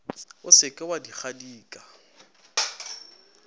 o se ke wa dikadika